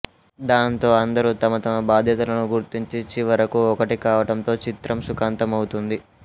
దాంతో అందరూ తమ తమ బాధ్యతలను గుర్తించి చివరకు ఒకటి కావటంతో చిత్రం సుఖాంతమౌతుంది